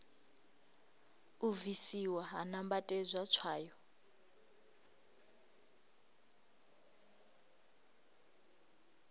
u bvisiwa ha nambatedzwa tswayo